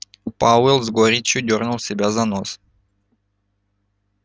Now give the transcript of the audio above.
пауэлл с горечью дёрнул себя за нос